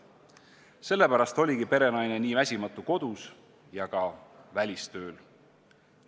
Sellepärast oligi perenaine nii väsimatu kodus kui ka välistööl.